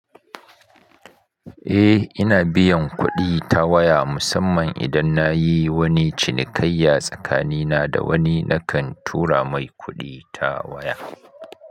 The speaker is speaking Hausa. Eh, ina biyan kuɗi ta waya musamman idan na yi wani cinikayya tsakanina da wani nakan tura mai kuɗi ta waya.